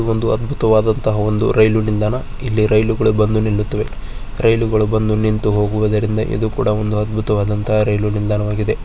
ಇದು ಒಂದು ಅದ್ಬುತವಾದಂತಹ ಒಂದು ರೈಲ್ವೆ ನಿಲ್ದಾಣ. ಇಲ್ಲಿ ರೈಲುಗಳು ಬಂದು ನಿಲ್ಲುತ್ತವೆ. ರೈಲುಗಳು ಬಂದು ನಿಂತು ಹೋಗುವುದರಿಂದಾ ಇದು ಕೂಡಾ ಒಂದು ಅಧ್ಭೂತವಾದ ರೈವ್ಲಾಯ್ ನಿಲ್ದಾಣ ಆಗಿದೆ.